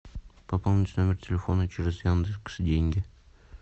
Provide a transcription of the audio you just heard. пополнить номер телефона через яндекс деньги